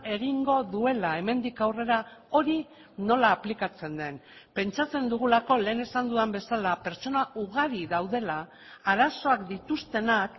egingo duela hemendik aurrera hori nola aplikatzen den pentsatzen dugulako lehen esan dudan bezala pertsona ugari daudela arazoak dituztenak